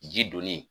Ji donni